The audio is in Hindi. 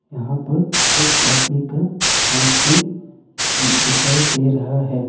यहां पर एक आदमी का हाथ भी दिखाई दे रहा है।